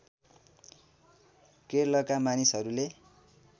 केरलका मानिसहरूले